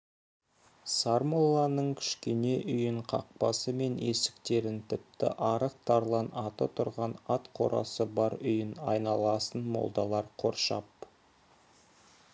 сармолланың кішкене үйін қақпасы мен есіктерін тіпті арық тарлан аты тұрған ат қорасын бар үй айналасын молдалар қоршап